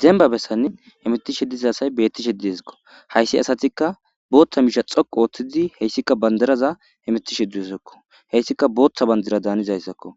Demba bessanni emetishe diza asay beettishe diesikko hayssi asatikka booththa miisha xoqu ooththizi heyssikka bandaraza emetishe dzusakko heyssika booththa bandira daanizayssakko